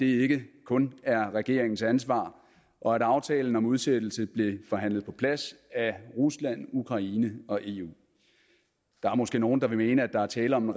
ikke kun er regeringens ansvar og at aftalen om udsættelse blev forhandlet på plads af rusland ukraine og eu der er måske nogle der vil mene at der er tale om